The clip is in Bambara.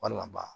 Walima ban